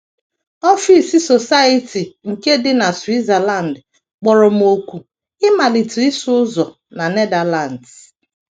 Ọfịs Society nke dị na Switzerland kpọrọ m òkù ịmalite ịsụ ụzọ na Netherlands.